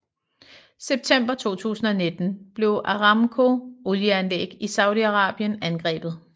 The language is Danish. September 2019 blev Aramco olieanlæg i Saudi Arabien angrebet